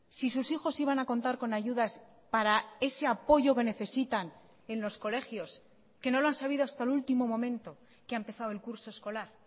si sus hijos iban a contar con ayudas para ese apoyo que necesitan en los colegios que no lo han sabido hasta el último momento que ha empezado el curso escolar